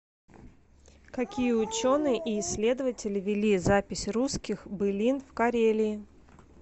какие ученые и исследователи вели запись русских былин в карелии